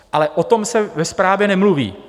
Ale o tom se ve zprávě nemluví.